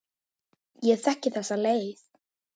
Ég þekki þessa leið.